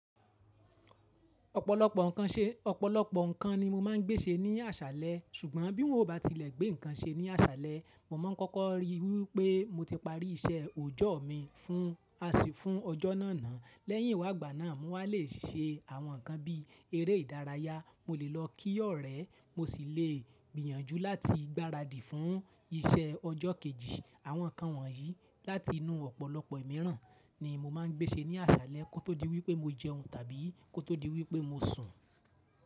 Ọ̀pọ̀lọpọ̀ ǹkan ṣe, ọ̀pọ̀lọpọ̀ ǹkan ni mo máa ń gbé ṣe ní àṣálẹ̀. Sùgbọ́n bí n o bá tilẹ̀ gbé ǹkan ṣe ní àṣálẹ̀, mo máa kọ́kọ́ rí wí pé mo ti parí iṣẹ́ òjọ́ mi fún, à sí fún ọjọ́ náà náà. Lẹ́yìn ìwà gbánáà, mo wà lé ṣe àwọn ǹkan bí eré ìdárayá, mo lè lọ kí ọ̀rẹ́, mo sì lè gbìyànjú láti gbáradì fún iṣẹ́ ọjọ́ kejì. Àwọn ǹkan wọ̀nyí láti inú ọ̀pọ̀lọpọ̀ mìíràn ni mo máa ń gbé ṣe ní àṣálẹ̀ kó tó di wí pé mo jẹun tàbí kó tó di wí pé mo sùn.